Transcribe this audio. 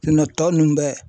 tɔ ninnu bɛɛ